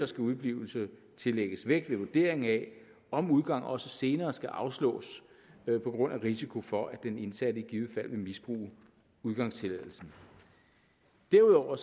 skal udeblivelse tillægges vægt ved vurdering af om udgang også senere skal afslås på grund af risiko for at den indsatte i givet fald vil misbruge udgangstilladelsen derudover